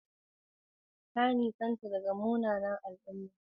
Ka nisanta daga munanan al'umma.